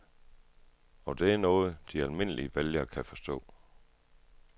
Og det er noget, de almindelige vælgere kan forstå.